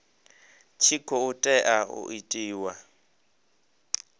tshi khou tea u itiwa